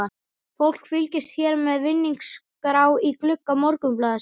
Fólk fylgist hér með vinningaskrá í glugga Morgunblaðsins.